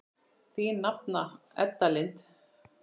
Þín nafna Edda Lind.